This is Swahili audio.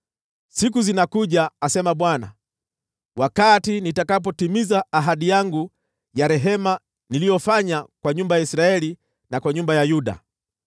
“ ‘Siku zinakuja,’ asema Bwana , ‘wakati nitakapotimiza ahadi yangu ya rehema niliyoifanya kwa nyumba ya Israeli na kwa nyumba ya Yuda.